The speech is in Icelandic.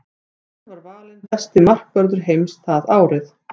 Hann var valinn besti markvörður heims það árið.